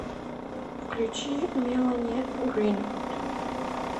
включи мелани гринвуд